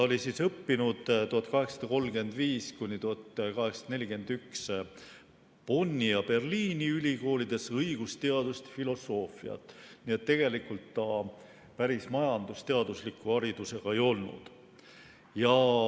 Ta õppis 1835–1841 Bonni ja Berliini ülikoolides õigusteadust ja filosoofiat, nii et tegelikult ta päris majandusteadusliku haridusega ei olnud.